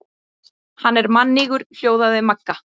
Hann er mannýgur hljóðaði Magga.